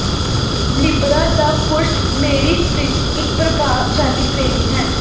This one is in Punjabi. ਲਿਬਰਾ ਦਾ ਪੁਰਸ਼ ਮੇਰਿਸ ਵਿਚ ਇਕ ਪ੍ਰਭਾਸ਼ਾਲੀ ਪ੍ਰੇਮੀ ਹੈ